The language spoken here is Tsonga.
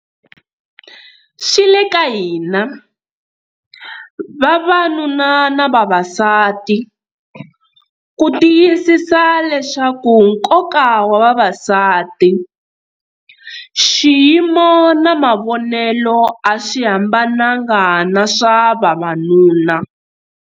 Swi le ka hina, vavanuna na vavasati, ku tiyisisa leswaku nkoka wa vavasati, xiyimo na mavonelo a swi hambananga na swa vavanuna.